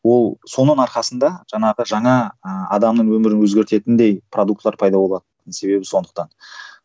ол соның арқасында жаңағы жаңа ыыы адамның өмірін өзгертетіндей продуктілер пайда болатын себебі сондықтан